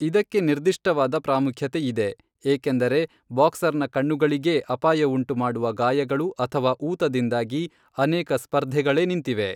ಇದಕ್ಕೆ ನಿರ್ದಿಷ್ಟವಾದ ಪ್ರಾಮುಖ್ಯತೆ ಇದೆ, ಏಕೆಂದರೆ ಬಾಕ್ಸರ್ನ ಕಣ್ಣುಗಳಿಗೇ ಅಪಾಯವುಂಟುಮಾಡುವ ಗಾಯಗಳು ಅಥವಾ ಊತದಿಂದಾಗಿ ಅನೇಕ ಸ್ಪರ್ಧೆಗಳೇ ನಿಂತಿವೆ.